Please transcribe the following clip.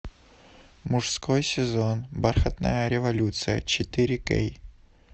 мужской сезон бархатная революция четыре кей